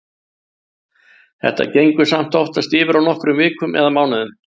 Þetta gengur samt oftast yfir á nokkrum vikum eða mánuðum.